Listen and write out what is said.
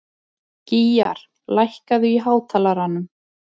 Gýgjar, lækkaðu í hátalaranum.